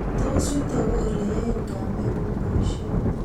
tos yutok ko ole yae kameng'ung boishet